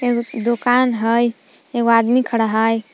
एगो दुकान हय एगो आदमी खड़ा हय।